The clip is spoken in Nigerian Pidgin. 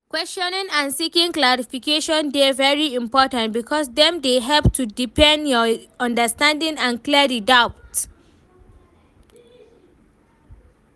Questioning and seeking clarification dey very important because dem dey help to deepen your understanding and clear di doubts.